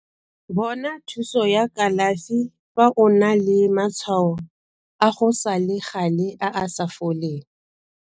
Bona thuso ya kalafi fa o na le matshwao a go sa le gale a a sa foleng.